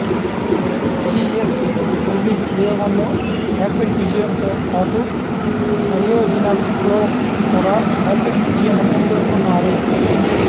GSLV ప్రయోగాల్లో hat trick విజయంతో పాటు క్రయోజనిక్లో కూడా హ్యాట్రిక్ విజయమని పేర్కొన్నారు